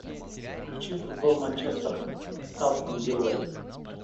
включи футбол манчестер с астон виллой